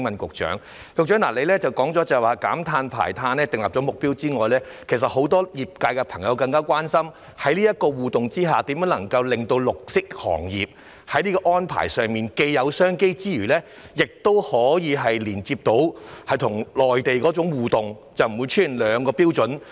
局長指出在減碳和排碳方面已訂下目標，但很多業界朋友更加關心的是，在這種互動下，如何令綠色行業在這些安排上既有商機之餘，亦可以連接與內地的互動而不會出現兩個標準？